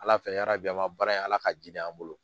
Ala fɛ ala bi an ka baara in ala ka ji de an bolo